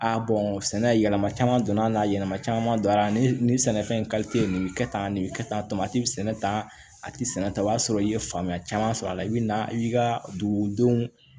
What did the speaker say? A sɛnɛ yɛlɛma caman donna n'a yɛlɛma caman donna ani sɛnɛfɛn nin bi kɛ tan nin be kɛ tan tamati bɛ sɛnɛ tan a tɛ sɛnɛ ta o y'a sɔrɔ i ye faamuya caman sɔrɔ a la i bɛ na i ka dugudenw